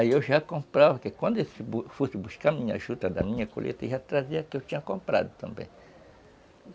Aí eu já comprava, porque quando eu fosse buscar a juta da minha colheita, eu já trazia aquilo que eu tinha comprado também.